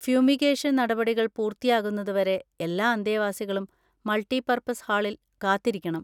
Fumigation നടപടികൾ പൂർത്തിയാകുന്നതുവരെ എല്ലാ അന്തേവാസികളും മൾട്ടിപർപ്പസ് ഹാളിൽ കാത്തിരിക്കണം.